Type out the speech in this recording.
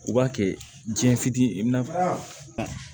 U b'a kɛ jiɲɛ fitinin ye i bɛna